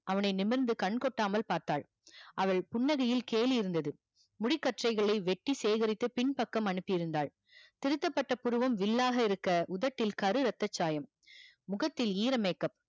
அவனை நிமிருந்து கண் கொட்டாமல் பார்த்தால் அவள் புன்னகையில் கேலி இருந்தது முடி கச்சைகளை வெட்டி சேகரித்து பின் பக்கம் அனுப்பி இருந்தால் திருத்தப்பட்ட புருவம் வில்லாக இருக்க உதட்டில் கரு ரத்தச்சாயம் முகத்தில் ஈர makeup